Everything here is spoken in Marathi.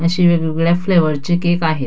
अशे वेगवेगळ्या फ्लेवर चे केक आहेत.